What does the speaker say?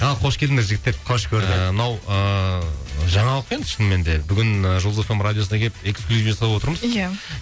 ал қош келдіңдер жігіттер қош көрдік мынау ыыы жаңалық енді шынымен де бүгін жұлдыз эф эм радиосына келіп эксклюзив жасап отырмыз ия